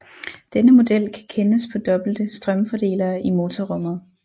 Denne model kan kendes på dobbelte strømfordelere i motorrummet